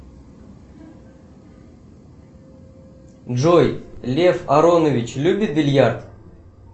джой лев аронович любит бильярд